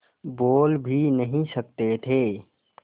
बोल भी नहीं सकते थे